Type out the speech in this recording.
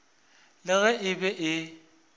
le ge e be e